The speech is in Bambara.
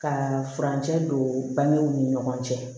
Ka furancɛ don bangew ni ɲɔgɔn cɛ